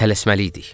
Tələsməliydik.